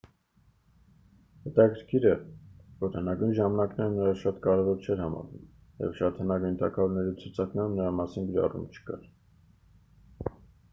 հետաքրքիր է որ հնագույն ժամանակներում նա շատ կարևոր չէր համարվում և շատ հնագույն թագավորների ցուցակներում նրա մասին գրառում չկա